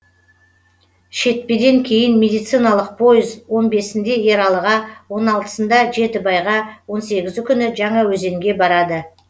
шетпеден кейін медициналық пойыз он бесіндеде ералыға он алытысында жетібайға он сегізі күні жаңаөзенге барады